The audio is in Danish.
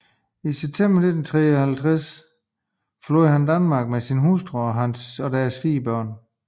I september 1953 forlod han Danmark med sin hustru og deres fire børn